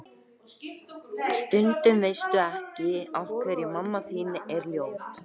Stundum veistu ekki ástæðuna en þú verður að halda áfram.